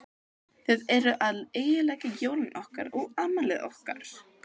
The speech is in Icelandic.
Þið eruð að eyðileggja jólin okkar og afmælið okkar.